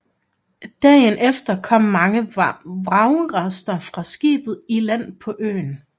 Dagen efter kom mange vragrester fra skibet i land på øen